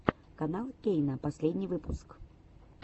канал кейна последний выпуск